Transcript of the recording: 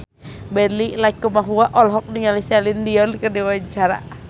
Benny Likumahua olohok ningali Celine Dion keur diwawancara